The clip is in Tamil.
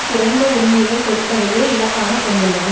குறைந்த உரிமைகள் கொடுப்பதையே இலக்காக கொண்டுள்ளது